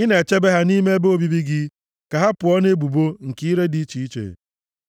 ị na-echebe ha nʼime ebe obibi gị; ka ha pụọ nʼebubo nke ire dị iche iche.